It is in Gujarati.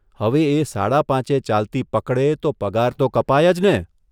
હવે એ સાડા પાંચે ચાલતી પકડે તો પગાર તો કપાય જ ને?